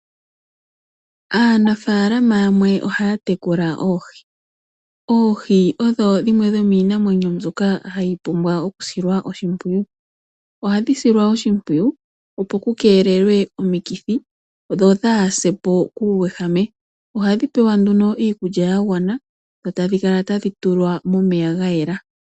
Aanafalama yamwe ohaya tekula oohi. Oohi odho dhimwe dhomiinamwenyo mbyoka hayi pumbwa oku silwa oshimpwiyu. Ohadhi silwa oshimpwiyu opo ku keelelwe omikithi dho dha hasepo kuuwehame. Ohadhi pewa nduno iikulya ya gwana dho tadhi kala tadhi tulwa momeya ga yela.